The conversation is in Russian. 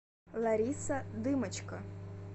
лариса дымочко